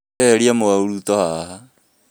Wee ehitia mũrauto haha